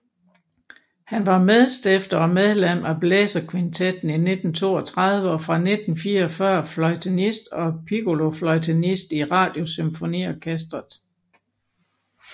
Han var medstifter og medlem af Blæserkvintetten af 1932 og fra 1944 fløjtenist og piccolofløjtenist i Radiosymfoniorkestret